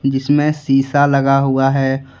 जिसमें शिसा लगा हुआ है।